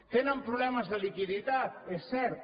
tenen problemes de liquiditat és cert